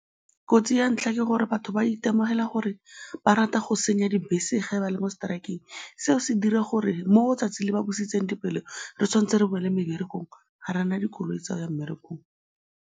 Kotsi ya ntlha ke gore batho ba itemogela gore ba rata go senya dibese ge ba le mo strike-eng, seo se dira gore mo 'tsatsi le ba busitseng dipelo, re tshwanetse re boele meberekong, ga re na dikoloi tsa go ya mmerekong.